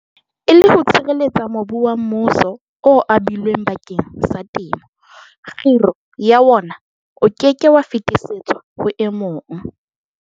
E le ho sireletsa mobu wa mmuso o abilweng bakeng sa temo, kgiro ya wona e ke ke ya fetisetswa ho e mong.